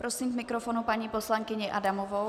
Prosím k mikrofonu paní poslankyni Adamovou.